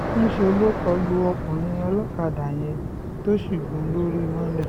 ńṣe ló kọ lu ọkùnrin olókàdá yẹn tó sì gún un lórí mọ́lẹ̀